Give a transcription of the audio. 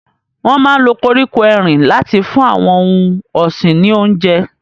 Wọn máa ń lo koríko erin láti fún àwọn ohun ọ̀sìn ní oúnjẹ.